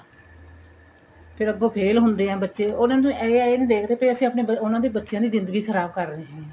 ਫੇਰ ਅੱਗੋ ਫ਼ੇਲ ਹੁੰਦੇ ਏ ਬੱਚੇ ਉਹਨਾ ਨੂੰ ਇਹ ਏ ਇਹ ਨੀਂ ਦੇਖਦੇ ਕਿ ਅਸੀਂ ਆਪਣੇ ਉਹਨਾ ਦੇ ਬੱਚਿਆਂ ਦੀ ਜਿੰਦਗੀ ਖਰਾਬ ਕਰ ਰਹੇ ਆ